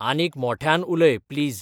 आनीक मोट्यान उलय प्लीज